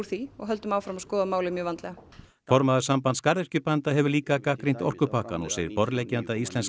því og höldum áfram að skoða málið mjög vandlega formaður Sambands garðyrkjubænda hefur líka gagnrýnt orkupakkann og segir borðleggjandi að íslensk